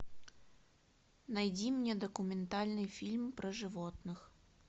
найди мне документальный фильм про животных